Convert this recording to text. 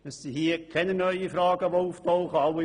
Es werden keine neuen Fragen aufgeworfen.